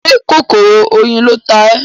Ṣé kòkòrò oyin ló ta ẹ́?